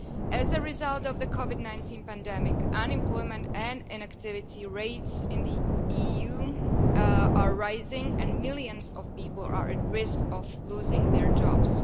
As a result of the COVID 19 pandemic, unemployment and inactivity rates in the EU are rising and millions of people are at risk of losing their jobs.